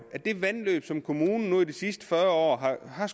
som kommunen nu de sidste fyrre år har